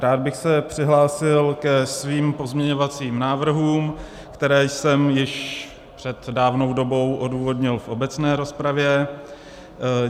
Rád bych se přihlásil ke svým pozměňovacím návrhům, které jsem již před dávnou dobou odůvodnil v obecné rozpravě.